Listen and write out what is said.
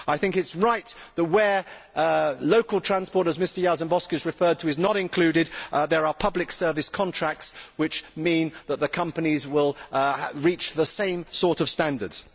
I think it is right that, where local transport as Mr Jarzembowski has referred to is not included, there are public service contracts which mean that the companies will reach the same sort of standards.